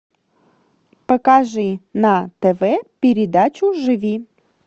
покажи на тв передачу живи